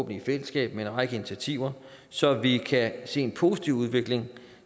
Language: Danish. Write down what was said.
i fællesskab med en række initiativer så vi kan se en positiv udvikling